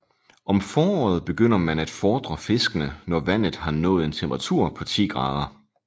Om foråret begynder man at fordre fiskene når vandet har nået en temperatur på 10 grader